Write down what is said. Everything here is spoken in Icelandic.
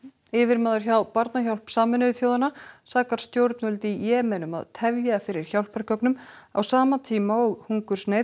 yfirmaður hjá Barnahjálp Sameinuðu þjóðanna sakar stjórnvöld í Jemen um að tefja fyrir hjálpargögnum á sama tíma og hungursneyð